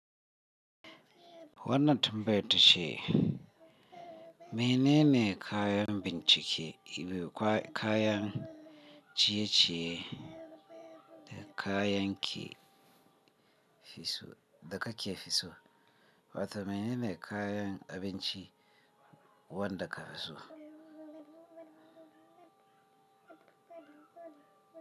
Wannan tambayar ta ce: Menene kayan bincike, kaya ciye-ciye da kayan kake fi so? Wata menene kayan abinci wanda ka fi so?